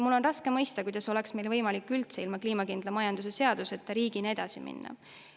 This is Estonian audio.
Mul on raske mõista, kuidas oleks meil võimalik üldse ilma kliimakindla majanduse seaduseta riigina edasi minna.